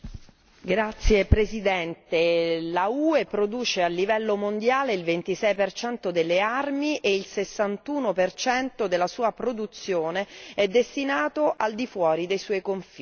Signora Presidente, l'UE produce a livello mondiale il 26 per cento delle armi e il 61 per cento della sua produzione è destinato al di fuori dei suoi confini.